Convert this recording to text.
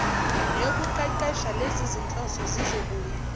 neyokuqeqesha lezizinhloso zizobuye